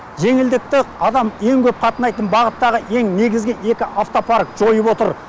жеңілдікті адам ең көп қатынайтын бағыттағы ең негізгі екі автопарк жайып отыр